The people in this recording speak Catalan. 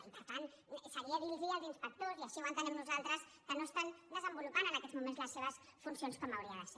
i per tant seria dir los als inspectors i així ho entenem nosaltres que no estan desenvolupant en aquests moments les seves funcions com hauria de ser